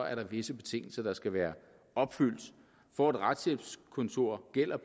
er der visse betingelser der skal være opfyldt for et retshjælpskontor gælder